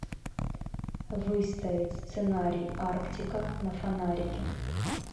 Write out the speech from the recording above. выставить сценарий арктика на фонарике